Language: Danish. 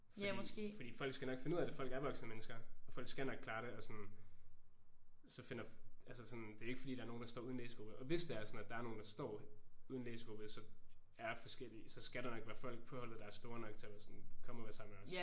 Fordi fordi folk skal nok finde ud af det. Folk er voksne mennesker. Og folk skal nok klare det. Og sådan så finder altså sådan det er ikke fordi der er nogen der står uden læsegruppe. Og hvis det er sådan at der er nogen der står uden læsegruppe så er forskellige så skal der nok være folk på holdet der er store nok til at være sådan kom og vær sammen med os